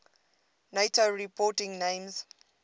nato reporting names